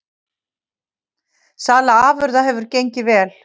Sala afurða hefur gengið vel